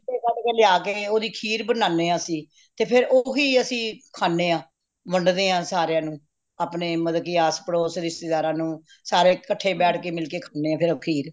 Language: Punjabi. ਛਿਟੇ ਕੱਢ ਕੇ ਲਿਆ ਕੇ ਓਹਦੀ ਖੀਰ ਬਣਾਨੇ ਹਾਂ ਅਸੀਂ ਤੇ ਫੇਰ ਉਹ ਹੀ ਅਸੀਂ ਖਾਣੇ ਹਾਂ ਵੰਡਦੇ ਹਾਂ ਸਾਰਿਆਂ ਨੂੰ ਅਪਣੇ ਮਤਲਬ ਕਿ ਆਸ ਪੜੋਸ ਰਿਸ਼ਤੇਦਾਰਾ ਨੂੰ ਸਾਰੇ ਕੱਠੇ ਬੈਠ ਕੇ ਮਿਲਕੇ ਖਾਣੇ ਹਾਂ ਫੇਰ ਉਹ ਖੀਰ